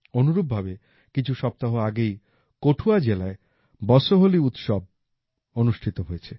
অনুরূপভাবে কিছু সপ্তাহ আগেই কঠুয়া জেলায় বসোহলি উৎসব আয়োজিত হয়েছে